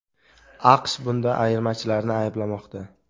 AQSh bunda ayirmachilarni ayblamoqda.